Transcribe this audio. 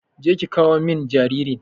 Je ki ƙawo min jaririn.